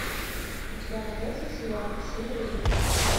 у тебя найдется сериал север юг